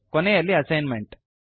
ಕೊನೆಯಲ್ಲಿ ಅಸೈನ್ಮೆಂಟ್